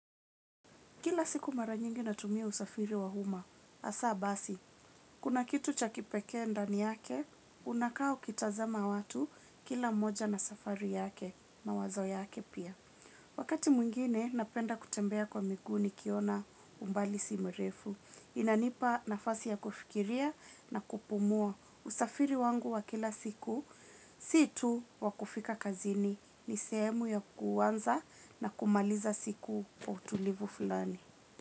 Kila siku mara nyingi natumia usafiri wa uma, hasa basi. Kuna kitu cha kipeke ndani yake, unakaa ukitazama watu kila moja na safari yake, mawazo yake pia. Wakati mwingine, napenda kutembea kwa miguu nikiona umbali si mrefu. Inanipa nafasi ya kufikiria na kupumua usafiri wangu wa kila siku. Sii tu wa kufika kazini ni sehemu ya kuanza na kumaliza siku wa utulivu flani.